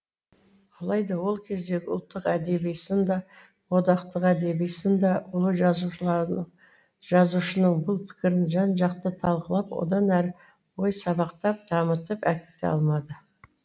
алайда ол кездегі ұлттық әдеби сын да одақтық әдеби сын да ұлы жазушының бұл пікірін жан жақты талқылап одан әрі ой сабақтап дамытып әкете алмады